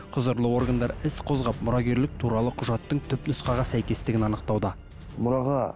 құзырлы органдар іс қозғап мұрагерлік туралы құжаттың түп нұсқаға сәйкесітігін анықтауда мұраға